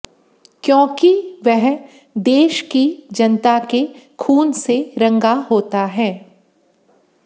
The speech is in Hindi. क्यों कि वह देश की जनता के खून से रंगा होता है